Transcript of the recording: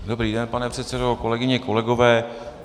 Dobrý den, pane předsedo, kolegyně, kolegové.